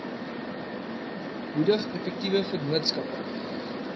moedig effektiewe vennootskappe